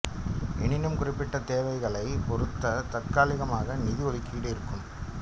எனினும் குறிப்பிட்ட தேவைகளைப் பொறுத்து தற்காலிகமாக நிதி ஒதுக்கீடு இருக்கும்